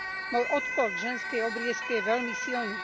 Môj odpor k ženskej obriezke je veľmi silný.